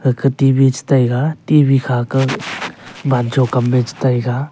gate T_V chu che taiga T_V kha ka wancho kam a che taiga.